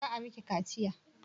Za a miki kaciya?